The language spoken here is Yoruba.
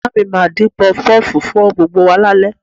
Ìyá mi máa dín Pọfupọ́ọ̀fù fún gbogbo wa lálẹ́